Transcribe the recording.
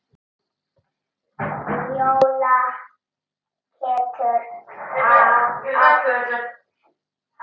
Njóla getur átt við